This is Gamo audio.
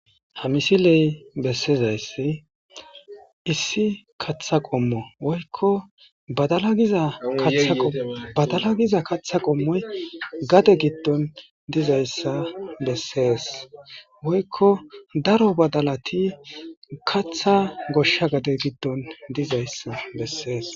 Ha misiley besizaysi issi katha qomo woyko badala giza katha qomoy gade gidon dizaysa beses woyko daro badalati katha gosha gade gidon dizaysa beses